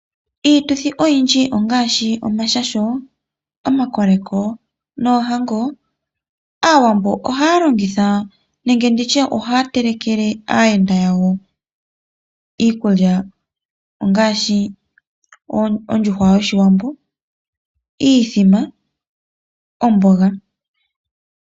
Iituthi oyindji ongaashi omashasho, omakoleko noohango, aawambo ohaya longitha nenge nditye ohaya telekele aayenda yawo iikulya ngaashi ondjuhwa yoshiwambo, iithima, omboga.